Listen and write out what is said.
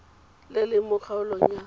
le leng mo kgaolong ya